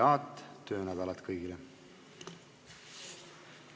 Head töönädalat kõigile!